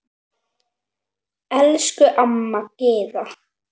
Elsku amma Gyða.